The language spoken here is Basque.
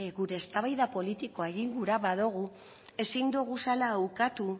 gure eztabaida politikoa egin gura nahi badugu ezin duguzala ukatu